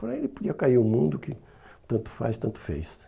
Para ele podia cair no mundo que tanto faz, tanto fez.